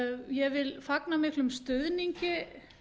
ég vil fagna miklum stuðningi